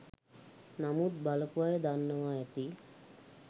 නමුත් බලපු අය දන්නව ඇති